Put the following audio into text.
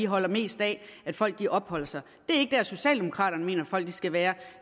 holder mest af at folk opholder sig det er ikke dér socialdemokraterne mener at folk skal være